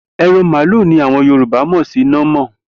E̩ran màlúù ni àwo̩n Yorùbá mò̩ sí námò̩